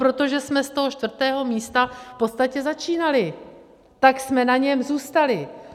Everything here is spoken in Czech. Protože jsme z toho čtvrtého místa v podstatě začínali, tak jsme na něm zůstali.